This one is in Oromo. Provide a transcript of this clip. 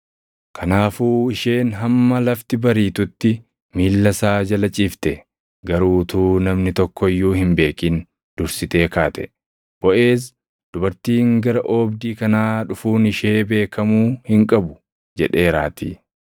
Kanaafuu isheen hamma lafti bariitutti miilla isaa jala ciifte; garuu utuu namni tokko iyyuu hin beekin dursitee kaate; Boʼeez, “Dubartiin gara oobdii kanaa dhufuun ishee beekamuu hin qabu” jedheeraatii.